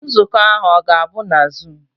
Nzukọ ahụ ọ ga-abụ na zuum?